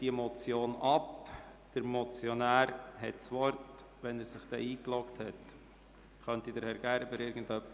Der Motionär hat das Wort, wenn er sich dann in die Rednerliste eingeloggt hat.